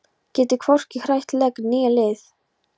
Getur hvorki hrært legg né lið.